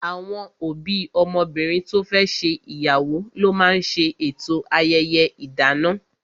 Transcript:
Àwọn òbí ọmọbìnrin to fẹ́ ṣe ìyàwó ló máa ń ṣe eto ayẹyẹ idana